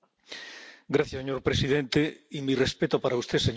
Señor presidente, y mi respeto para usted, señora Mogherini.